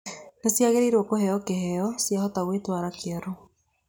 Nĩ ciagĩrĩiro kũheo kĩheo ciahota gwĩtwara kĩoro.